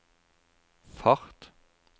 fart